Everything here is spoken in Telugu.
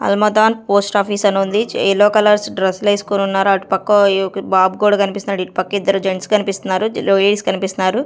అల్మదాన్ పోస్ట్ ఆఫీస్ అని ఉంది. ఎల్లో కలర్స్ డ్రెస్సులు వేసుకొని ఉన్నారు అటుపక్క బాబు కూడా కనిపిస్తున్నాడు ఇటు పక్క ఇద్దరు జెంట్స్ కనిపిస్తున్నారు లూయిస్ కనిపిస్తున్నారు.